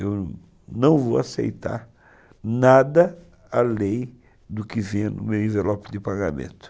Eu não vou aceitar nada além do que vir no meu envelope de pagamento.